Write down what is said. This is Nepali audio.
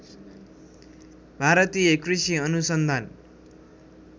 भारतीय कृषि अनुसन्धान